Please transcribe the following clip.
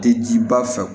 Tɛ jiba fɛ